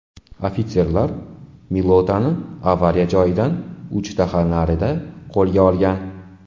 Ofitserlar Milotani avariya joyidan uch daha narida qo‘lga olgan.